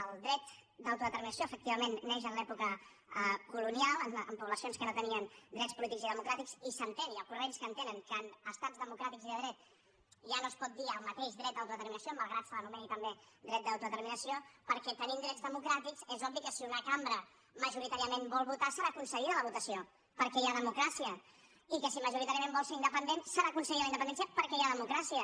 el dret d’autodeterminació efectivament neix en l’època colonial en poblacions que no tenien drets polítics i democràtics i s’entén hi ha corrents que entenen que en estats democràtics i de dret ja no es pot dir el mateix dret d’autodeterminació malgrat que se l’anomeni també dret d’autodeterminació perquè tenint drets democràtics és obvi que si una cambra majoritàriament vol votar serà concedida la votació perquè hi ha democràcia i que si majoritàriament vol ser independent serà concedida la independència perquè hi ha democràcia